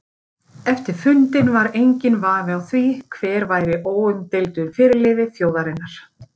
Eftir fundinn var enginn vafi á því hver væri óumdeildur fyrirliði þjóðarinnar.